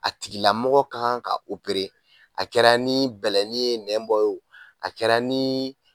A tigilamɔgɔ kan ka a kɛra ni bɛlɛnin ye nɛn bɔ o a kɛra ni